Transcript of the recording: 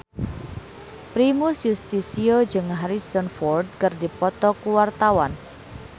Primus Yustisio jeung Harrison Ford keur dipoto ku wartawan